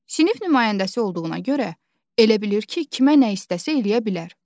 Sinif nümayəndəsi olduğuna görə elə bilir ki, kimə nə istəsə eləyə bilər.